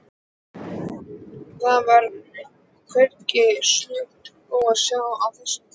Það var hvergi snjó að sjá á þessum tíma.